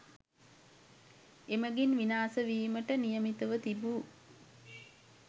එමගින් විනාශ වීමට නියමිතව තිබූ